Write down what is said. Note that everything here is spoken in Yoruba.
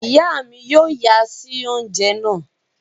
Iya mí yóò nya si oúnjẹ náà